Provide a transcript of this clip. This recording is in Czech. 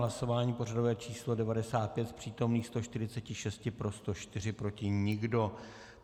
Hlasování pořadové číslo 95, z přítomných 146 pro 104, proti nikdo.